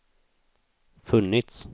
funnits